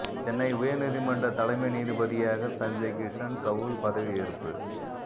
சென்னை உயர்நீதிமன்ற தலைமை நீதிபதியாக சஞ்சய் கிஷன் கவுல் பதவி எற்பு